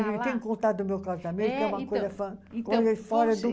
eu tenho que contar do meu casamento, que é uma coisa fora, coisa fora do